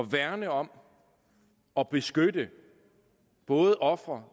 værne om og beskytte både ofre